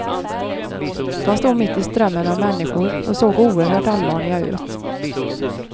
De stod mitt i strömmen av människor och såg oerhört allvarliga ut.